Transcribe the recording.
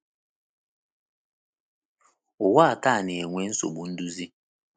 Ụwa taa na-enwe nsogbu nduzi.